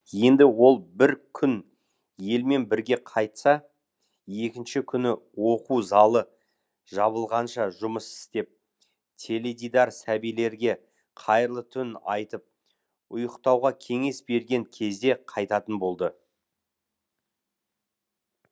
енді ол бір күн елмен бірге қайтса екінші күні оқу залы жабылғанша жұмыс істеп теледидар сәбилерге қайырлы түн айтып ұйықтауға кеңес берген кезде қайтатын болды